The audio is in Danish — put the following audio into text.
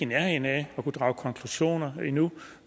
nærheden af at kunne drage konklusioner endnu